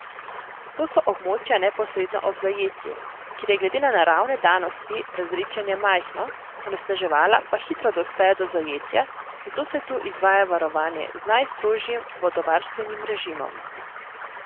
To so območja neposredno ob zajetju, kjer je glede na naravne danosti razredčenje majhno, onesnaževala pa hitro dospejo do zajetja, zato se tu izvaja varovanje z najstrožjim vodovarstvenim režimom.